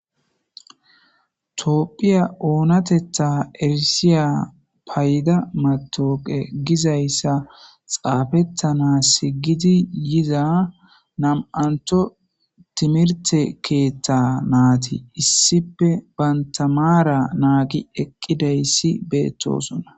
Toophphiya oonatetta erisiya payda matoqe gizayssa xaafettana si gidi yiza nam7antho timirte keethta naati issipe bantamaara naagi eqqidayssi beettosona.